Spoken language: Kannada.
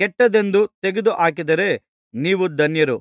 ಕೆಟ್ಟದೆಂದು ತೆಗೆದುಹಾಕಿದರೆ ನೀವು ಧನ್ಯರು